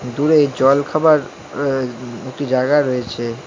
দূরে জলখাবার আ এ একটি জায়গা রয়েছে।